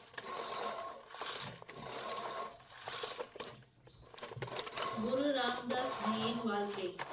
குரு ராம்தாஸ் ஜியின் வாழ்க்கை